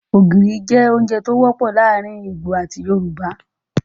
Ógiri jẹ ounjẹ to wọpọ laarin awọn Igbo ati Yorùbá